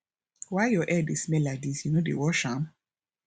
why your hair dey smell like dis you no dey wash am